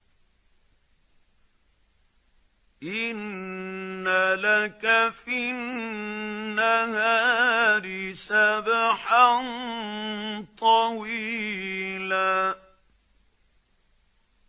إِنَّ لَكَ فِي النَّهَارِ سَبْحًا طَوِيلًا